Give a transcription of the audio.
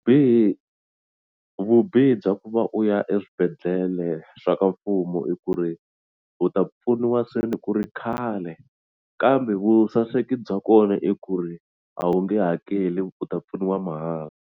vubihi bya ku va u ya eswibedhlele swa ka mfumo i ku ri u ta pfuniwa seni ku ri khale kambe vusaseki bya kona i ku ri a wu nge hakeli u ta pfuniwa mahala.